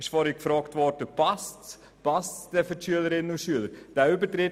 Es wurde heute gefragt, ob diese Zusatzlektionen für die Schülerinnen und Schüler passen würden.